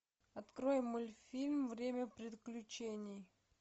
открой мультфильм время приключений